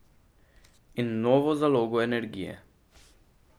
In novo zalogo energije.